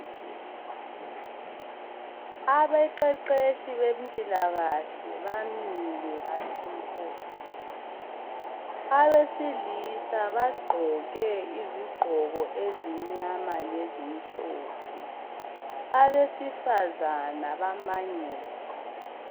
Abeqeqeshi bempilakahle bamile bathi mpo. Abesilisa bagqoke izigqoko ezimnyama lezi mhlophe. Abesifazana bamangele.